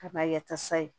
Kaba ya ta sa ye